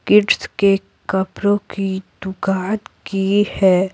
Kids के कपड़ों की दुकान की है।